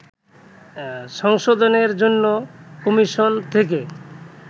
সংশোধনের জন্য কমিশন থেকে